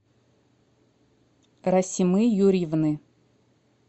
расимы юрьевны